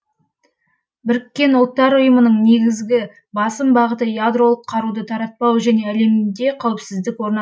бұұ ның негізгі басым бағыты ядролық қаруды таратпау және әлемде қауіпсіздік орнат